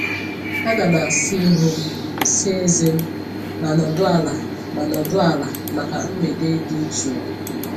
Ana m asa ihu m, saa ezé m, ma nọdụ ala ma nọdụ ala maka mgbede dị jụụ.